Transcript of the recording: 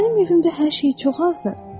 Axı mənim evimdə hər şey çox azdır.